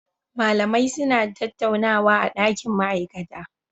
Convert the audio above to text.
Mallamai suna tattaunawa a dakin ma'aikata